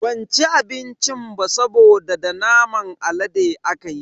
Ban ci abincin ba saboda da naman alade akayi.